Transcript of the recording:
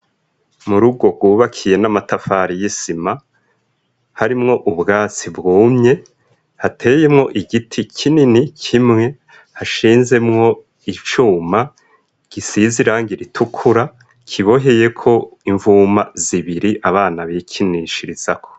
Mu rgo rwubakiye n'amatafari y'isima harimwo ubwatsi bwumye hateyemwo igiti kinini kimwe hashinzemwo icuma gisizirangira itukura kiboheye ko imvuma zibiri abana bikinishirizako.